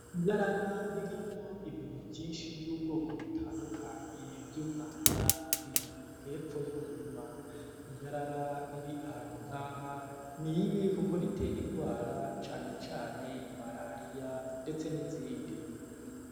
Iyarara ririmwo ibintu vyinshi vy'ubwoko butandukanyi vy'umwanda riri hepfo y'umurima iyarara riri ahantu nkaha ni ibi, kuko ritera ingwara canecane malariya, ndetse n'izindi.